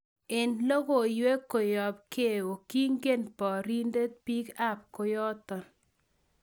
En logoiwek koyop geo kingen porindet pig ap kooton